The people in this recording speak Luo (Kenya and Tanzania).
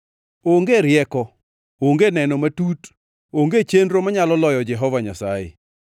Onge rieko, onge neno matut, onge chenro manyalo loyo Jehova Nyasaye.